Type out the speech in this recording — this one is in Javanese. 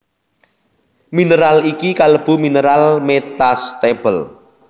Mineral iki kalebu mineral metastable